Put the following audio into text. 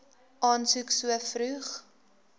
aansoek so vroeg